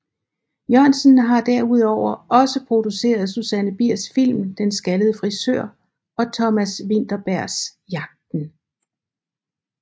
Jørgensen har derudover også produceret Susanne Biers film Den Skaldede Frisør og Thomas Vinterbergs Jagten